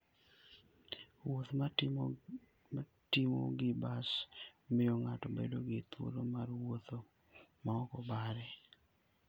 Wuoth mitimo gi bas miyo ng'ato bedo gi thuolo mar wuotho ma ok obare.